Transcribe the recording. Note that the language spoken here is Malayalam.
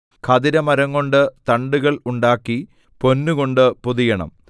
ഖദിരമരംകൊണ്ട് തണ്ടുകൾ ഉണ്ടാക്കി പൊന്നുകൊണ്ട് പൊതിയണം